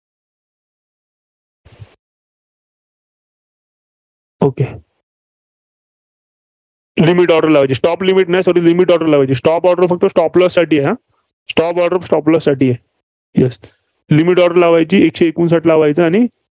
okay order लावायची. stop limit नाही limit order लावायची stop order फक्त stop loss साठी. Yeslimit order लावायची एकशे एकोणसाठी लावायचं आणि